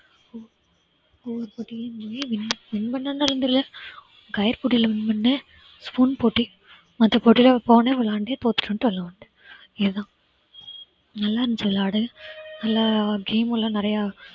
கயிறு போட்டில win பண்ண spoon போட்டி, மத்த போட்டியெல்லாம் போன விளையாண்ட வெளியில வந்துட்டேன் இதுதான் நல்லா இருந்துச்சு விளையாட நல்லா game எல்லாம் நிறைய